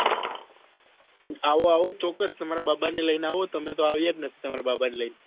આવો આવો ચોક્કસ તમારા બાબા ને લઈને આવો તમે તો આવ્યા જ નથી તમારા બાબા ને લઈ ને